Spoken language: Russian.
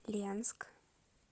ленск